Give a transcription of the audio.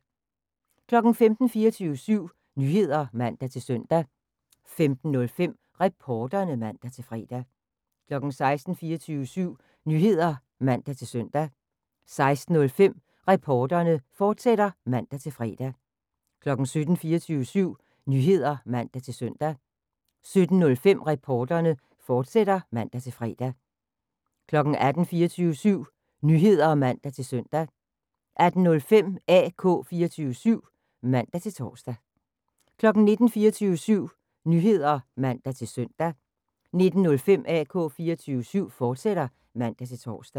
15:00: 24syv Nyheder (man-søn) 15:05: Reporterne (man-fre) 16:00: 24syv Nyheder (man-søn) 16:05: Reporterne, fortsat (man-fre) 17:00: 24syv Nyheder (man-søn) 17:05: Reporterne, fortsat (man-fre) 18:00: 24syv Nyheder (man-søn) 18:05: AK 24syv (man-tor) 19:00: 24syv Nyheder (man-søn) 19:05: AK 24syv, fortsat (man-tor)